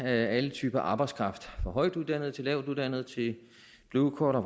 alle typer af arbejdskraft fra højtuddannede til lavtuddannede til bluecollar